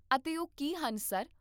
ਅਤੇ ਉਹ ਕੀ ਹਨ, ਸਰ?